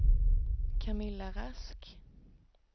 Camilla Rask